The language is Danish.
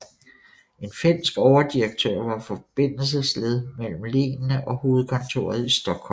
En finsk overdirektør var forbindelsesled mellem lenene og hovedkontoret i Stockholm